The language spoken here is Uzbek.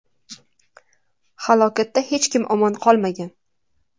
Halokatda hech kim omon qolmagan.